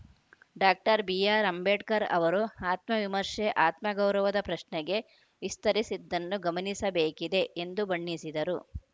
doctor B R Ambedkar ಅವರು ಆತ್ಮವಿಮರ್ಶೆ ಆತ್ಮ ಗೌರವದ ಪ್ರಶ್ನೆಗೆ ವಿಸ್ತರಿಸಿದ್ದನ್ನು ಗಮನಿಸಬೇಕಿದೆ ಎಂದು ಬಣ್ಣಿಸಿದರು